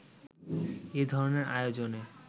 এ ধরনের আয়োজনে